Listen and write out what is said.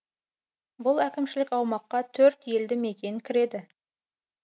бұл әкімшілік аумаққа төрт елді мекен кіреді